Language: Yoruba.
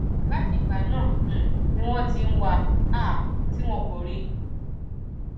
láti ìgbà náà um ni wọn ti ń wá a um tí wọn kò rí i